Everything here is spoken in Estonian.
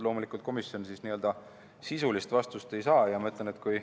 Loomulikult, komisjon sisulist vastust ei saanud.